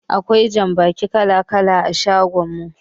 Akwai jambaki kala-kala a shagon mu.